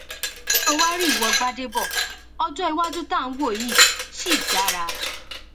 ṣé o wàá rí ìwo gbàdébò ọjọ iwájú tá à ń wò yìí ṣì dára